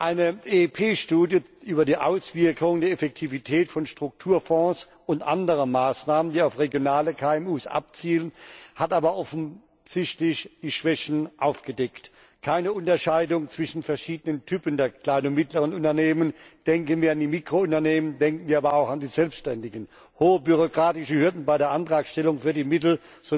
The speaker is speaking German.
Eine EP Studie über die Auswirkungen der Effektivität von Strukturfonds und anderer Maßnahmen, die auf regionale KMU abzielen, hat aber offensichtlich die Schwächen aufgedeckt keine Unterscheidung zwischen verschiedenen Typen der kleinen und mittleren Unternehmen denken wir an die Mikrounternehmen, denken wir aber auch an die Selbständigen, hohe bürokratische Hürden bei der Antragstellung für die Mittel